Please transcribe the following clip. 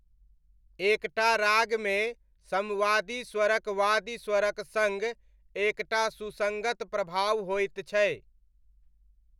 एक टा रागमे सम्वादि स्वरक वादि स्वरक सङ्ग एक टा सुसङ्गत प्रभाव होइत छै।